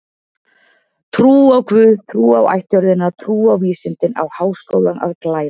Trú á guð, trú á ættjörðina, trú á vísindin á Háskólinn að glæða.